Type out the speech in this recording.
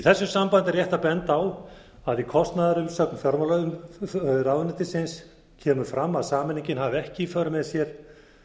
þessu sambandi er rétt að benda á að kostnaðarumsögn fjármálaráðuneytisins kemur fram að sameiningin hafi ekki í för með sér